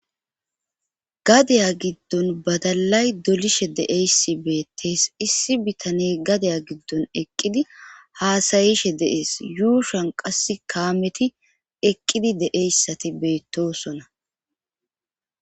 Gadaya giddon badalay dolishe deeyssi beettees issi bitane gadaya giddon eqqidi haasayishe deees yuushan qass kaameti eqqidi deeyssati beettosona.